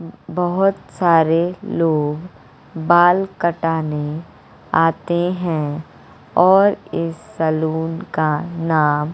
बहोत सारे लोग बाल कटाने आते हैं और इस सैलून का नाम--